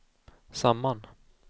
samman